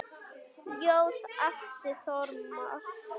Ljóð: Atli Þormar